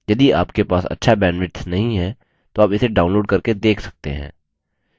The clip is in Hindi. यदि आपके पास अच्छा bandwidth नहीं है तो आप इसे download करके देख सकते हैं